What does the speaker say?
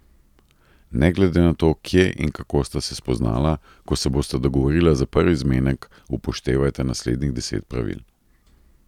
Ne glede na to, kje in kako sta se spoznala, ko se bosta dogovorila za prvi zmenek, upoštevajta naslednjih deset pravil.